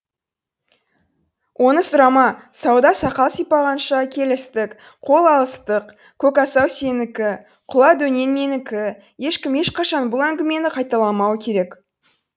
оны сұрама сауда сақал сипағанша келістік қол алыстық көкасау сенікі құла дөнен менікі ешкім ешқашан бұл әңгімені қайталамау керек